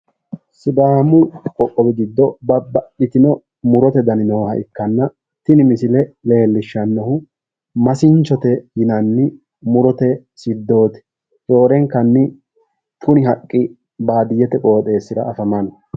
Sidaamu qoqqowi giddo babbaxxitino muro dani nooha ikkanna tini misile leellishshannohu masinchote yinanni siddooti. Roorenkanni kuni. haqqi baadiyyete qooxeessira afamanno.